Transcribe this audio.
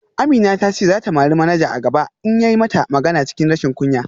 Amina ta ce za ta mari manaja a gaba in ya yi mata magana cikin rashin kunya